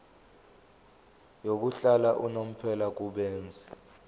yokuhlala unomphela kubenzi